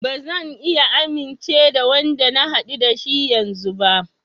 Ba zan iya amince da Wanda na haɗu da shi yanzun ba.